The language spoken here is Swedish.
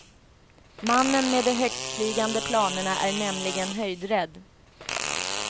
Mannen med de högtflygande planerna är nämligen höjdrädd.